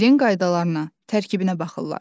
Dilin qaydalarına, tərkibinə baxırlar.